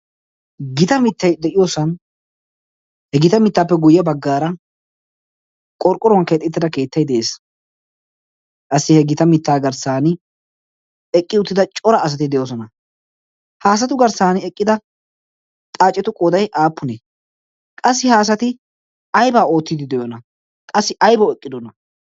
gita mittay de'iyoosan he gita mittaappe guyye baggaara qorqquruwan keexittida keettai de'ees qassi he gita mittaa garssan eqqi uttida cora asati de'oosona haasatu garssan eqqida xaacetu qooday aappunee qassi haasati aybaa oottiidi de'ona qassi aybawu eqqidona